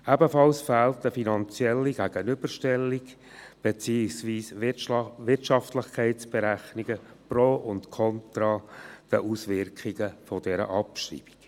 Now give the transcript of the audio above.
Ebenso fehlt eine finanzielle Gegenüberstellung beziehungsweise Wirtschaftlichkeitsberechnungen pro und kontra die Auswirkungen dieser Abschreibung.